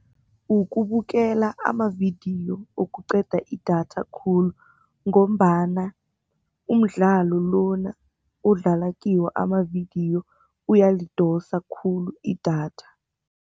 Ukubukela amavidiyo okuqeda idatha khulu ngombana umdlalo lona odlala kiwo amavidiyo uyalidosa khulu idatha.